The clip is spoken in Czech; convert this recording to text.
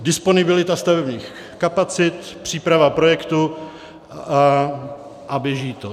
Disponibilita stavebních kapacit, příprava projektu a běží to.